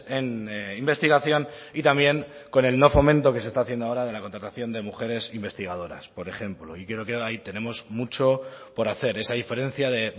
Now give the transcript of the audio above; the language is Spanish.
en investigación y también con el no fomento que se está haciendo ahora de la contratación de mujeres investigadoras por ejemplo y creo que ahí tenemos mucho por hacer esa diferencia de